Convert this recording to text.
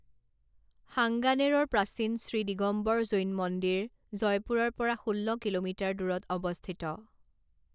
সাংগানেৰৰ প্ৰাচীন শ্ৰী দিগম্বৰ জৈন মন্দিৰ জয়পুৰৰ পৰা ষোল্ল কিলোমিটাৰ দূৰত অৱস্থিত।